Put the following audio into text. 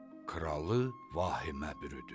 Kralı vahimə bürüdü.